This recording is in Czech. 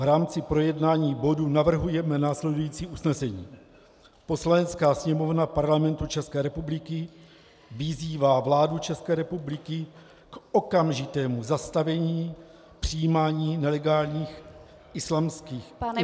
V rámci projednání bodu navrhujeme následující usnesení: Poslanecká sněmovna Parlamentu ČR vyzývá vládu ČR k okamžitému zastavení přijímání nelegálních islámských imigrantů -